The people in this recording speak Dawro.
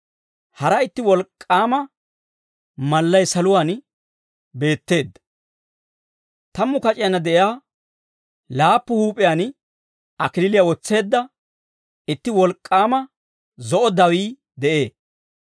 Hara itti wolk'k'aama mallay saluwaan beetteedda. Tammu kac'iyaanna de'iyaa laappu huup'iyaan kalachchaa wotseedda itti wolk'k'aama zo'o dawii de'ee.